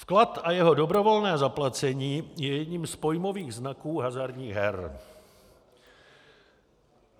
Vklad a jeho dobrovolné zaplacení je jedním z pojmových znaků hazardních her.